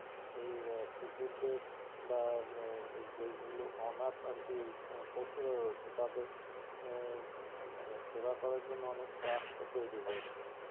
এই কুকুরদের বা এই যেগুলো অনাথ আরকি পশুরা রয়েছে তাদের এর মানে সেবা করার জন্য অনেক trust ও তৈরি হয়েছে